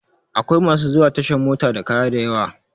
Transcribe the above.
Akwai masu zuwa tashan mota da kaya dayawa